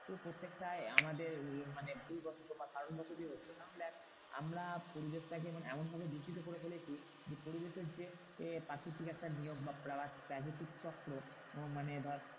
প্রত্যেকটায় আমাদের মানে ভুল বশত বা কারণ বশতই হচ্ছে। কারণ দেখ আমরা পরিবেশটাকে মানে এমনভাবে দূষিত করে ফেলেছি যে, পরিবেশের যে প্রাকৃতিক একটা নিয়ম বা প্রাকৃতিক চক্র মানে ধর